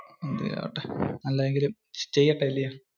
എന്തേലും ആവട്ടെ. അല്ലെങ്കില്ക് ചെയ്യണ്ടേ അല്ലെ?